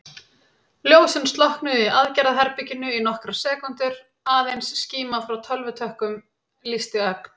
Ljósin slokknuðu í aðgerðaherberginu í nokkrar sekúndur, aðeins skíma frá tölvutökkunum lýsti ögn.